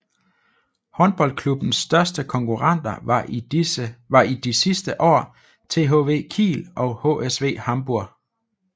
Håndboldklubbens største konkurrenter var i de sidste år THW Kiel og HSV Hamburg